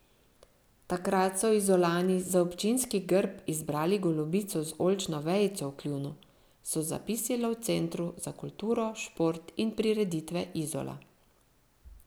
Takrat so Izolani za občinski grb izbrali golobico z oljčno vejico v kljunu, so zapisali v Centru za kulturo, šport in prireditve Izola.